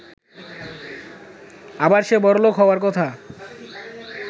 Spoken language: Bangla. আবার সে বড়লোক হওয়ার কথা।